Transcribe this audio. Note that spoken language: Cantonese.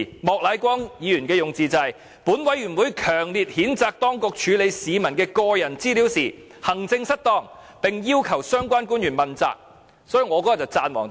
莫乃光議員的用字是："本委員會強烈譴責當局處理市民的個人資料時行政失當，並要求相關官員問責"。